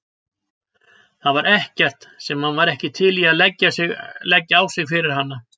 Það var ekkert sem hann var ekki til í að leggja á sig fyrir hana.